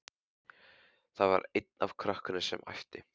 Það var einn af krökkunum sem æpti.